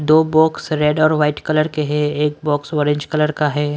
दो box red और white colour के हैं एक बॉक्स ऑरेंज कलर का है।